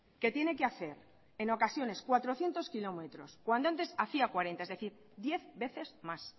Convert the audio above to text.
que tiene que hacer en ocasiones cuatrocientos kilómetros cuando antes hacía cuarenta es decir diez veces más